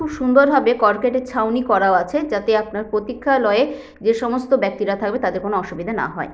খুব সুন্দরভাবে কর্কটের ছাউনি করাও আছে যাতে আপনার প্রতীক্ষালয়ে যে সমস্ত ব্যক্তিরা থাকবে তাদের কোন অসুবিধা না হয়।